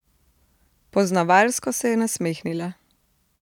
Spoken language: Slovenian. Poznavalsko se je nasmehnila.